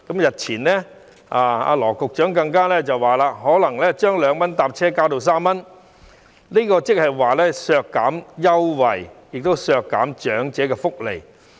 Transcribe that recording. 日前，羅局長更表示可能會把2元乘車優惠加至3元，這等於是削減優惠，亦是削減長者福利。